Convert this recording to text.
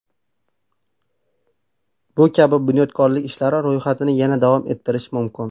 Bu kabi bunyodkorlik ishlari ro‘yxatini yana davom ettirish mumkin.